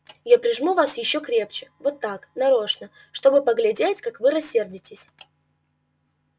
я прижму вас ещё крепче вот так нарочно чтобы поглядеть как вы рассердитесь